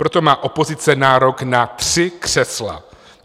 Proto má opozice nárok na tři křesla.